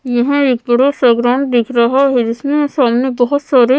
यहाँ एक बड़ा सा ग्राउंड दिख रहा है जिसमें सामने बहुत सारे --